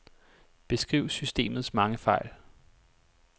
Beskriv systemets mange fejl.